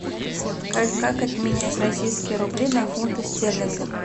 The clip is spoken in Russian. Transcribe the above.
как обменять российские рубли на фунты стерлингов